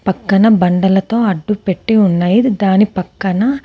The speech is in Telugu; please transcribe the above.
పక్కన బండలతో అడ్డుపెట్టి ఉన్నాయి. దాని పక్కన--